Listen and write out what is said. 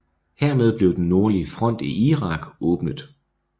Hermed blev den nordlige front i Irak åbnet